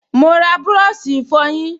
Mo ra búrọ̀ṣì ìfọyín